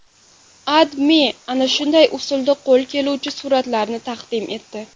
AdMe ana shunday usulda qo‘l keluvchi suratlarni taqdim etdi .